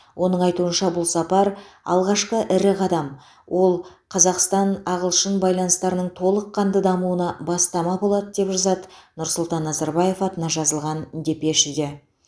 оның айтуынша бұл сапар алғашқы ірі қадам ол қазақстан ағылшын байланыстарының толыққанды дамуына бастама болады деп жазады нұрсұлтан назарбаев атына жазылған депешеде